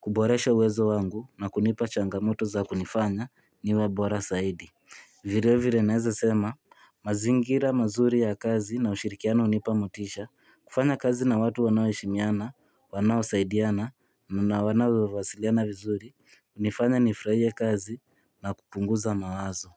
kuboresha uwezo wangu na kunipa changamoto za kunifanya niwe bora zaidi Vilevile naweza sema mazingira mazuri ya kazi na ushirikiano hunipa motisha kufanya kazi na watu wanao heshimiana, wanaosaidiana, na wanao wasiliana vizuri hunifanya nifurahie kazi na kupunguza mawazo.